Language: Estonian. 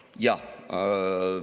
Jaa.